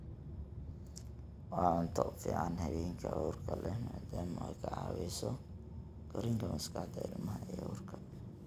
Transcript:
Waa cunto u fiican haweenka uurka leh maadaama ay ka caawiso korriinka maskaxda ilmaha ee uurka.